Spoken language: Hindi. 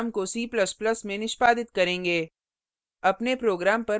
अब हम इसी program को c ++ में निष्पादित करेंगे